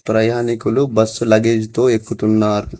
ప్రయాణికులు bus luggage తో ఎక్కుతున్నారు.